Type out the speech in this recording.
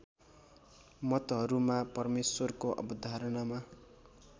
मतहरूमा परमेश्वरको अवधारणामा